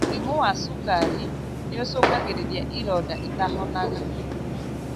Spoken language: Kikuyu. Mũrimu wa cukari nĩũcũngagĩrĩria ironda itahonaga